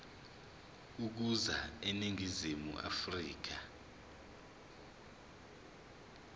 ukuza eningizimu afrika